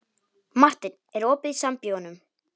Marteinn, er opið í Sambíóunum?